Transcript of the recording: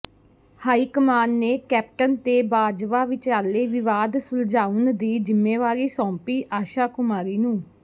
high command ਨੇ Captain ਤੇ ਬਾਜਵਾ ਵਿਚਾਲੇ ਵਿਵਾਦ ਸੁਲਝਾਉਣ ਦੀ ਜ਼ਿੰਮੇਵਾਰੀ ਸੌਂਪੀ ਆਸ਼ਾ ਕੁਮਾਰੀ ਨੂੰ